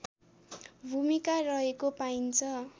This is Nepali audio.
भूमिका रहेको पाइन्छ